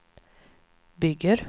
bygger